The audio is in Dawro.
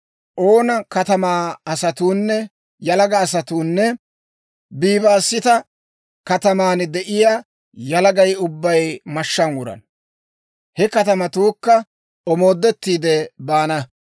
Oona katamaa yalaga asatuunne Bibaasita kataman de'iyaa yalagay ubbay mashshaan wurana; he katamatuukka omoodettiide baana.